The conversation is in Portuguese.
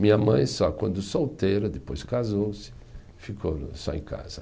Minha mãe só quando solteira, depois casou-se, ficou só em casa.